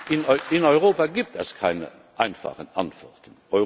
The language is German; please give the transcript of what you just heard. In Europa gibt es keine einfachen Antworten.